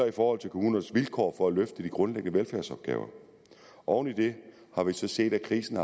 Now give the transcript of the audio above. i forhold til kommunernes vilkår for at løfte de grundlæggende velfærdsopgaver oven i det har vi så set at krisen